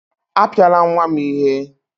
Apiala nwa m ihe!